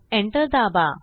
enter दाबा